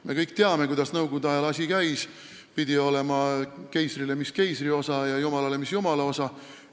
Me kõik teame, kuidas nõukogude ajal asi käis: keisrile pidi olema, mis keisri osa, ja jumalale, mis jumala osa.